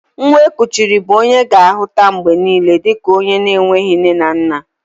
Nwa e kuchiri bụ onye a ga-ahuta mgbe niile dika onye enweghị nne na nna